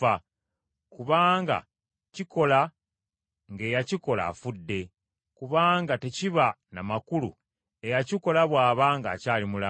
Kubanga kikola ng’eyakikola afudde, kubanga tekiba na makulu eyakikola bw’aba ng’akyali mulamu.